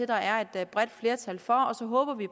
der er et bredt flertal for og så håber vi